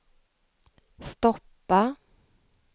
stoppa